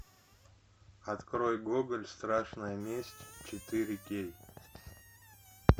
открой гоголь страшная месть четыре кей